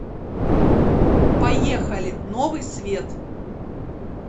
поехали новый свет